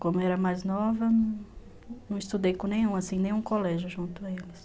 Como eu era mais nova, não estudei com nenhum, assim, nenhum colégio junto a eles.